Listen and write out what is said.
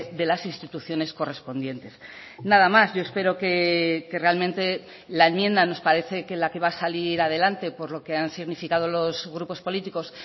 de las instituciones correspondientes nada más yo espero que realmente la enmienda nos parece que la que va a salir adelante por lo que han significado los grupos políticos